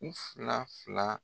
U fila fila.